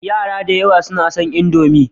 Yara da yawa suna son Indomi.